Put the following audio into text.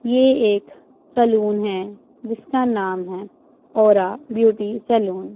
ये एक सैलून है जिसका नाम है और ओरा ब्यूटी सैलून --